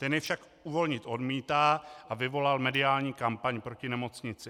Ten je však uvolnit odmítá a vyvolal mediální kampaň proti nemocnici.